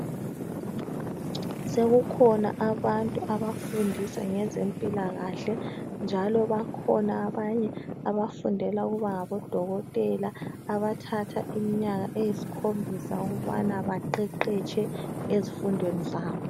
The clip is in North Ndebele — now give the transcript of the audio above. Sekukhona abantu abafundisa ngezempilakahle njalo bakhona abanye abafundela ukuba ngabodokotela abathatha iminyaka eyisikhombisa ukubana baqeqetshe ezifundweni zabo.